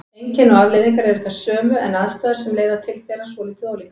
Einkenni og afleiðingar eru þær sömu en aðstæður sem leiða til þeirra svolítið ólíkar.